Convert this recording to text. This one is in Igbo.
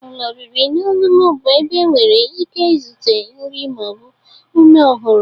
Ụlọ oriri na ọṅụṅụ bụ ebe enwere ike ịzụta nri ma ọ bụ ume ọhụrụ.